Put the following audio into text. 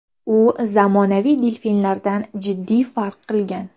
U zamonaviy delfinlardan jiddiy farq qilgan.